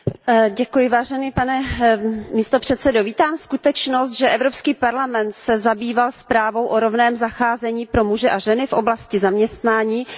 Pane předsedající, vítám skutečnost, že Evropský parlament se zabýval zprávou o rovném zacházení pro muže a ženy v oblasti zaměstnání a povolání.